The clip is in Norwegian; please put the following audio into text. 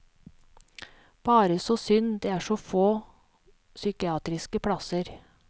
Bare så synd det er så få psykiatriske plasser.